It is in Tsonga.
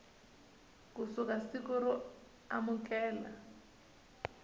ku suka siku ro amukela